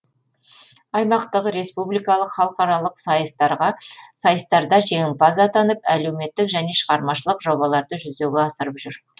аймақтық республикалық халықаралық сайыстарда жеңімпаз атанып әлеуметтік және шығармашылық жобаларды жүзеге асырып жүр